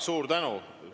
Suur tänu!